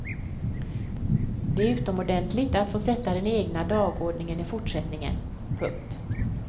Det är utomordentligt att få sätta den egna dagordningen i fortsättningen. punkt